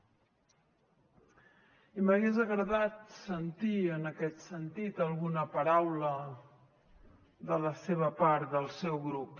i m’hagués agradat sentir en aquest sentit alguna paraula de la seva part del seu grup